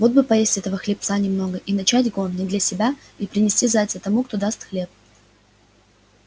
вот бы поесть этого хлебца немного и начать гон не для себя и принести зайца тому кто даст хлеб